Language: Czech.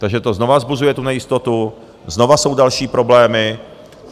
Takže to znova vzbuzuje tu nejistotu, znova jsou další problémy.